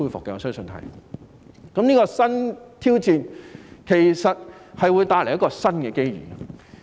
這個新挑戰其實會帶來新的機遇。